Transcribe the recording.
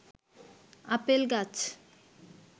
apple গাছ